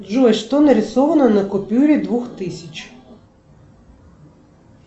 джой что нарисовано на купюре двух тысяч